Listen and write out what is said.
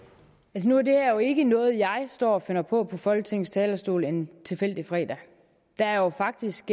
nu er det her jo ikke noget jeg står og finder på på folketingets talerstol en tilfældig fredag der er faktisk